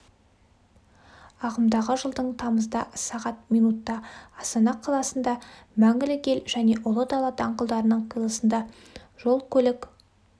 ағымдағы жылдың тамызда сағат минутта астана қаласында мәңгілік ел және ұлы дала даңғылдарының қиылысында жол көлік